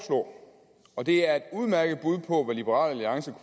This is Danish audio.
og og det er et udmærket bud på hvad liberal alliance